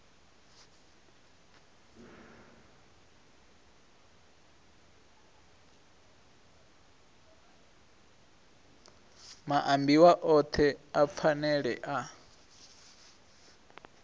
maambiwa othe a phanele a